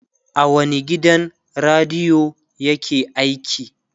a wani gidan radiyo yake aiki?